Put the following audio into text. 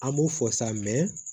An b'o fɔ sa